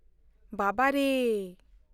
ᱵᱟᱵᱟᱨᱮ !